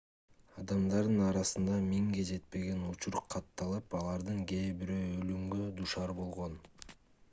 адамдардын арасында миңге жетпеген учур катталып алардын кээ бирөө өлүмгө дуушар болгон